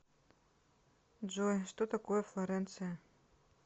джой что такое флоренция